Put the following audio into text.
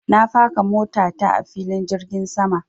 Na faka mota ta a filin jirgin sama.